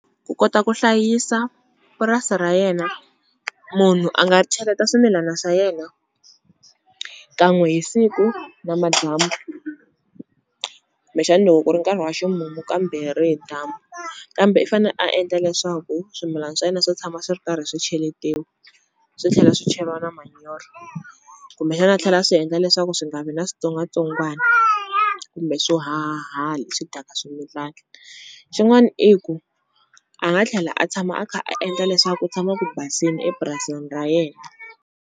Ku kota ku hlayisa purasi ra yena munhu a nga cheleta swimilana swa yena kan'we hi siku namadyambu, kumbexani loko ku ri nkarhi wa ximumu kambirhi hi dyambu kambe i fane a endla leswaku swimilana swa yena swi tshama swi ri karhi swi cheletiwa, swi tlhela swi cheriwa na manyoro kumbexani a tlhela a swi endla leswaku swi nga vi na switsongwatsongwani kumbe swo hahahaha swi dyaka swimilani xin'wani i ku a nga tlhela a tshama a kha a endla leswaku ku tshama ku basini epurasini ra yena.